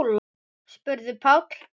spurði Páll.